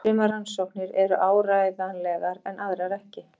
Sumar rannsóknirnar eru áreiðanlegar en aðrar ekki.